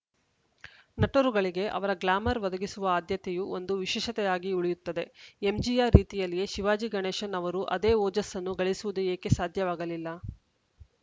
ನಟರುಗಳಿಗೆ ಅವರ ಗ್ಲಾಮರ್‌ ಒದಗಿಸುವ ಆದ್ಯತೆಯು ಒಂದು ವಿಶೇಷತೆಯಾಗುಳಿಯುತ್ತದೆ ಎಂಜಿಆರ್‌ ರೀತಿಯಲ್ಲಿಯೇ ಶಿವಾಜಿಗಣೇಶನ್‌ ಅವರು ಅದೇ ಓಜಸ್ಸನ್ನು ಗಳಿಸುವುದು ಏಕೆ ಸಾಧ್ಯವಾಗಲಿಲ್ಲ